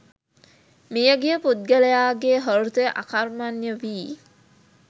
මියගිය පුද්ගලයාගේ හෘදය අකර්මණ්‍ය වී